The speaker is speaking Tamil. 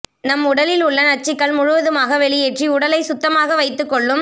நம் உடலில் உள்ள நச்சுக்கள் முழுவதுமாக வெளியேற்றி உடலை சுத்தமாக வைத்துக் கொள்ளும்